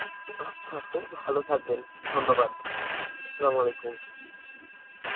আচ্ছা আপু, ভালো থাকবেন. ধন্যবাদ. Arbi